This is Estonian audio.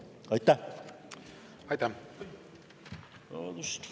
Aitäh!